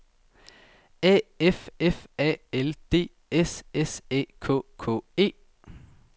A F F A L D S S Æ K K E